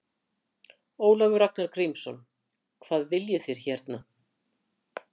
Ólafur Ragnar Grímsson: Hvað viljið þið hérna?